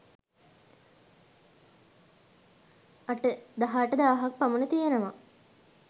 දහ අටදාහක් පමණ තියෙනවා.